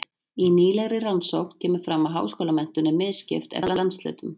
Í nýlegri rannsókn kemur fram að háskólamenntun er misskipt eftir landshlutum.